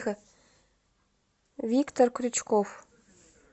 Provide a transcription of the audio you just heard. виктор крючков